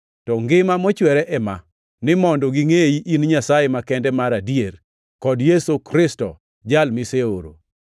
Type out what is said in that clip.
To ngima mochwere ema: ni mondo gingʼeyi in Nyasaye makende mar adier, kod Yesu Kristo, Jal miseoro.